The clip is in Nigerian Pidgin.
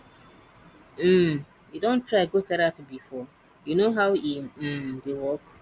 um you don try go therapy before you know how e um dey work